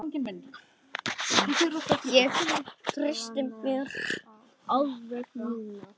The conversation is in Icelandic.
Ég treysti mér alveg núna!